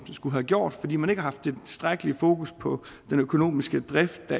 skulle have gjort fordi man ikke har haft det tilstrækkelige fokus på den økonomiske drift